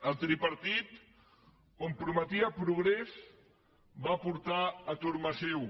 el tripartit on prometia progrés va portar atur massiu